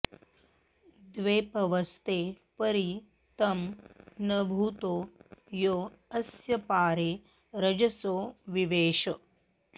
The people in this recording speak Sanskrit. द्वे प॒वस्ते॒ परि॒ तं न भू॑तो॒ यो अ॒स्य पा॒रे रज॑सो वि॒वेष॑